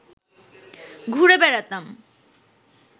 ঘুরে বেড়াতাম